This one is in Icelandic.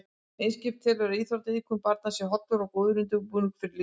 Eimskip telur að íþróttaiðkun barna sé hollur og góður undirbúningur fyrir lífið.